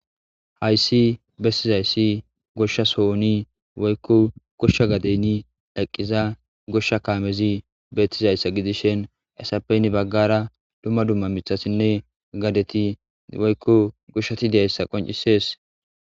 Hayssi bestizayssi goshshas ooni woykko goshsha gadeni eqqiza goshsha kaamezi bettizayssa gidishen esappeynni baggara dumma dumma mithasinne gadeti woykko goshshati deayssa qoncisees.